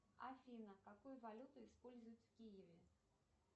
афина какую валюту используют в киеве